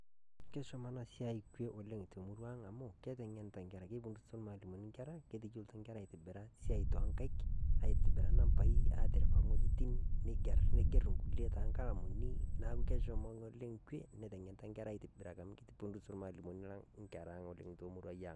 Keishoma ana siai kwee oleng te murrua ang' amu keteng'enisho te nkerra. Kebudusitoo mwalimuni nkerra , keteiyolo nkerra sia to nkaiki. Aitibira naambai, atiripaa nkojitin, neigeer nkulee te nkalaamuni. Naa keishomo ng'olee kwee neiteng'enita nkerra aitibiraki amu keibudus mwalimuni lang nkerra oleng te murrua ang.